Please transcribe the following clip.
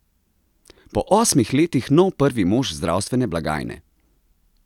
Po osmih letih nov prvi mož zdravstvene blagajne?